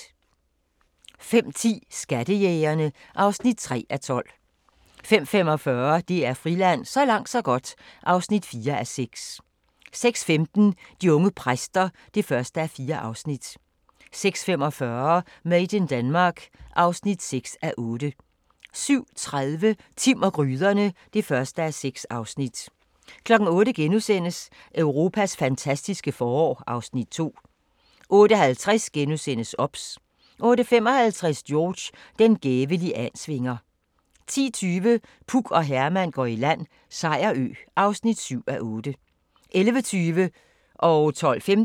05:10: Skattejægerene (3:12) 05:45: DR Friland: Så langt så godt (4:6) 06:15: De unge præster (1:4) 06:45: Made in Denmark (6:8) 07:30: Timm og gryderne (1:6) 08:00: Europas fantastiske forår (Afs. 2)* 08:50: OBS * 08:55: George – den gæve liansvinger 10:20: Puk og Herman går i land - Sejerø (7:8) 11:20: Guld på godset